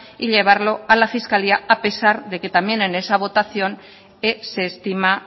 y llevarlo a la fiscalía a pesar de que también en esa votación que se estima